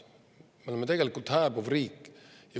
Me oleme tegelikult hääbuv riik.